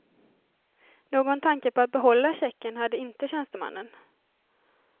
Någon tanke på att behålla checken hade inte tjänstemannen.